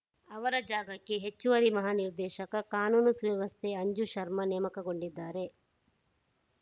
ಅವರ ಜಾಗಕ್ಕೆ ಹೆಚ್ಚುವರಿ ಮಹಾ ನಿರ್ದೇಶಕ ಕಾನೂನು ಸುವ್ಯವಸ್ಥೆ ಅಂಜು ಶರ್ಮಾ ನೇಮಕಗೊಂಡಿದ್ದಾರೆ